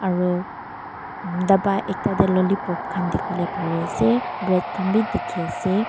aro daba ekta dae lollipop khan diki bolae pari asae bread khan bi diki asae.